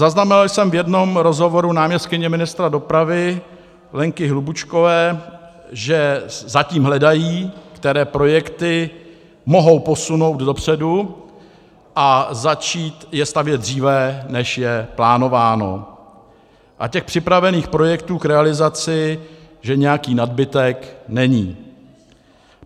Zaznamenal jsem v jednom rozhovoru náměstkyně ministra dopravy Lenky Hlubučkové, že zatím hledají, které projekty mohou posunout dopředu a začít je stavět dříve, než je plánováno, a těch připravených projektů k realizaci že nějaký nadbytek není.